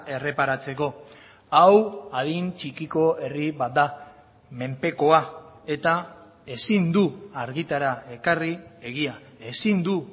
erreparatzeko hau adin txikiko herri bat da menpekoa eta ezin du argitara ekarri egia ezin du